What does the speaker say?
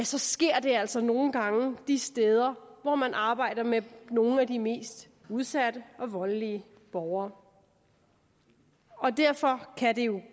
så sker det altså nogle gange de steder hvor man arbejder med nogle af de mest udsatte og voldelige borgere derfor kan det jo